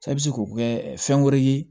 E bɛ se k'o kɛ fɛn wɛrɛ ye